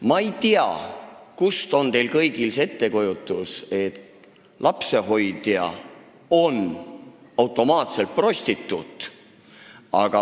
Ma ei tea, kust on teil kõigil tulnud see ettekujutus, et lapsehoidja on automaatselt prostituut.